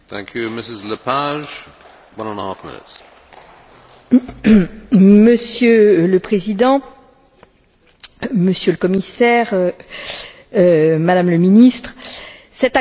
Monsieur le Président, Monsieur le Commissaire, Madame le Ministre, cet accord a d'abord le mérite d'apporter une certaine clarification juridique, comme mes collègues l'ont rappelé.